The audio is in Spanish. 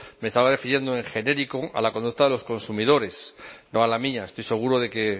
me estaba refiriendo en genérico a la conducta de los consumidores no a la mía estoy seguro de que